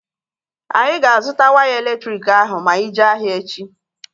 Anyị ga-azụta waya elektriki ahụ ma anyị jee ahịa echi